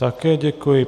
Také děkuji.